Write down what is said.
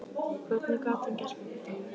Hvernig gat hann gert mér þetta?